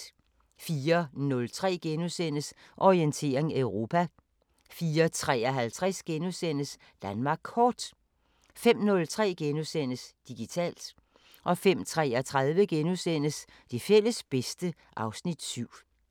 04:03: Orientering Europa * 04:53: Danmark Kort * 05:03: Digitalt * 05:33: Det fælles bedste (Afs. 7)*